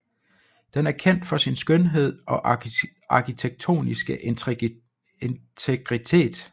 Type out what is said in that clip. Den er kendt for sin skønhed og arkitektoniske integritet